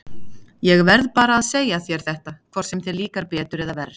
Ég verð bara að segja þér þetta, hvort sem þér líkar betur eða verr.